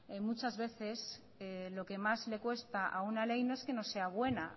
muchas veces lo que más le cuesta a una ley no es que no sea buena